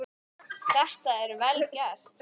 Þetta er vel gert.